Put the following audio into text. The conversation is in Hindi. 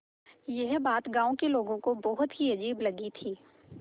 यह बात गाँव के लोगों को बहुत ही अजीब लगी थी